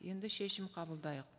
енді шешім қабылдайық